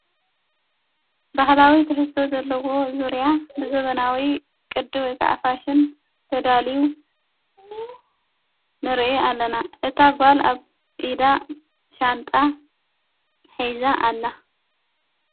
ባህላዊ ትሕዝቶ ዘለዎ ዙርያ ብዘበናዊ ቅዲ ወይከዓፋሽን ተዳልዩ ንርኢ ኣለና እታ ኣጓል ኣብ ኢዳ ሻንጣ ኂዛ ኣላ::